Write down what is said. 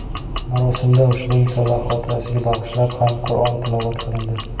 Marosimda ushbu insonlar xotirasiga bag‘ishlab ham Qur’on tilovat qilindi.